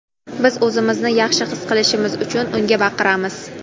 biz o‘zimizni yaxshi his qilishimiz uchun unga baqiramiz;.